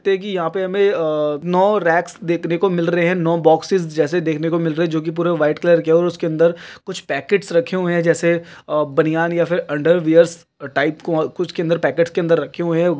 देखिए यहाँ पे हमें अ नौ रैक्स देखने को मिल रहे है नौ बोक्सेस जैसे देखने को मिल रहे है जोकि पूरे व्हाइट कलर के है और उसके अंदर कुछ पैकेट्स रखे हुए है जैसे अ बनियान या फिर अन्डर वियर्स टाइप को कुछ के अंदर पैकेट्स के अंदर रखे हुए हैं।